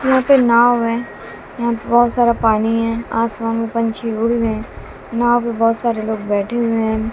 यहां पे नाव है यहां पे बहुत सारा पानी है आसमान में पंछी उड़ रहे हैं नाव में बहुत सारे लोग बैठे हुए हैं।